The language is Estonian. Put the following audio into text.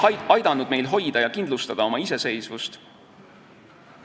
Ta on aidanud meil oma iseseisvust hoida ja kindlustada.